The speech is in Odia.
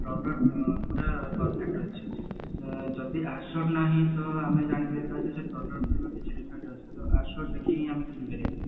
product ପୁରା perfect ରହୁଛି ଯଦି assured ନାହିଁ ତ ଆମେ ଜାଣିଯାଇ ପାରିବୁ ଯେ product ର କିଛି defect ରହୁଛି ତ assured ଦେଖିକି ଆମେ କିଣି ପାରିବା